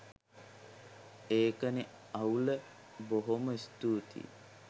ඒකනෙ අවුල බොහොම ස්තූතියි